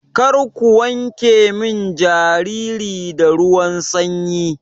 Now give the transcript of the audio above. Karku wanke min jariri da ruwan sanyi.